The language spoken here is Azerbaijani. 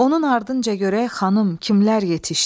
Onun ardınca görək xanım kimlər yetişdi?